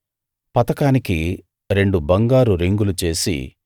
పతకానికి రెండు బంగారు రింగులు చేసి